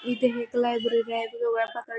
इथे हे एक लायब्ररी आहे पिवळ्या --